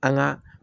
An ga